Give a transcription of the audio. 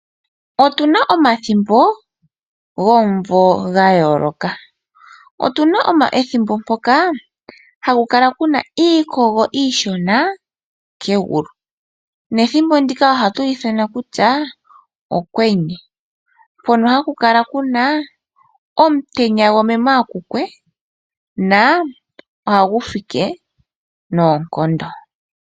Otuna omathimbo gomumvo ga yooloka. Otuna ethimbo mpoka haku kala kuna iikogo iishona kegulu nethimbo ndika ohatu li ithana kutya Okwenye, mpono haku kala kuna omutenya gwamemw akukwe, na ohagu fike noonkondo.